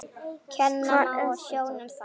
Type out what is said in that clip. Kenna má á sjónum þann.